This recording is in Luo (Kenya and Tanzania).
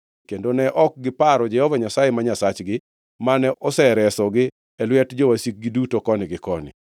kendo ne ok giparo Jehova Nyasaye ma Nyasachgi, mane oseresogi e lwet jowasikgi duto koni gi koni.